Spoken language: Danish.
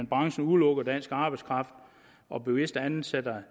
branchen udelukker dansk arbejdskraft og bevidst ansætter